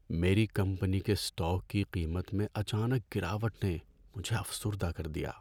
میری کمپنی کے اسٹاک کی قیمت میں اچانک گراوٹ نے مجھے افسردہ کر دیا۔